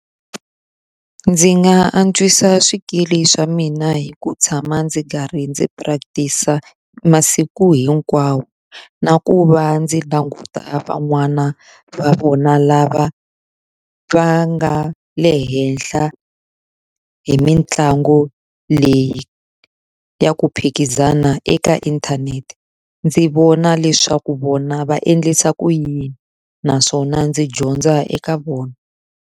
Ndzi nga antswisa swikili swa mina hi ku tshama ndzi karhi ndzi practice-a masiku hinkwawo. Na ku va ndzi languta van'wana va vona lava va nga le henhla hi mitlangu leyi ya ku phikizana eka inthanete. Ndzi vona leswaku vona va endlisa ku yini, naswona ndzi dyondza eka vona.